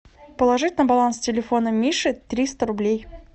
положить на баланс телефона миши триста рублей